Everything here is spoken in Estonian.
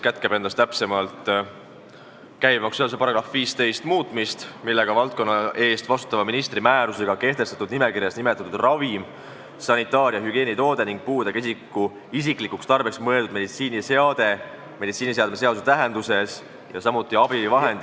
Me teeme ettepaneku muuta käibemaksuseaduse § 15, mille kohaselt valdkonna eest vastutava ministri määrusega kehtestatud nimekirjas olev ravim, sanitaar- või hügieenitoode ning puudega isiku isiklikuks tarbeks mõeldud meditsiiniseade meditsiiniseadme seaduse tähenduses, samuti abivahend ...